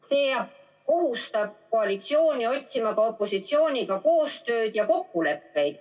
See kohustab koalitsiooni otsima ka opositsiooniga koostööd ja kokkuleppeid.